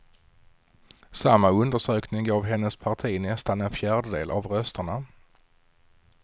Samma undersökning gav hennes parti nästan en fjärdedel av rösterna.